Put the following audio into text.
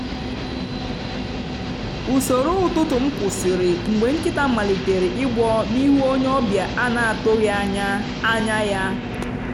usoro ụtụtụ m kwụsịrị mgbe nkịta malitere igbọ n’ihu onye ọbịa a na-atụghị anya anya ya.